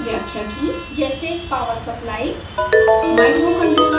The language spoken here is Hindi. विविध ब्लॉक्स की व्याख्या की जैसे power supply